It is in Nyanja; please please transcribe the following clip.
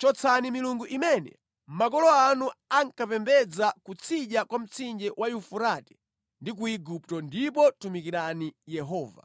Chotsani milungu imene makolo anu ankapembedza kutsidya kwa mtsinje wa Yufurate ndi ku Igupto ndipo tumikirani Yehova.